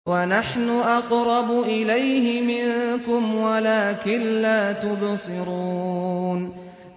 وَنَحْنُ أَقْرَبُ إِلَيْهِ مِنكُمْ وَلَٰكِن لَّا تُبْصِرُونَ